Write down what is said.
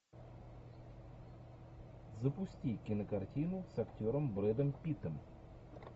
запусти кинокартину с актером брэдом питтом